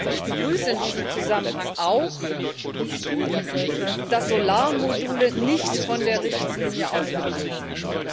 Ich begrüße in diesem Zusammenhang auch, dass Solarmodule nicht von der Richtlinie ausgenommen sind.